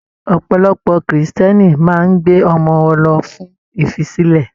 Ọ̀pọ̀lọpọ̀ Kírísítẹ́nì máa n gbé ọmọ wọn lọ fún ifisilẹ.